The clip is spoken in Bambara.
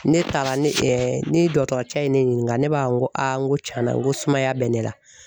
Ne taara ne ni dɔgɔtɔrɔcɛ ye ne ɲininga ne b'a fɔ n ko n ko tiɲɛna n ko sumaya bɛ ne la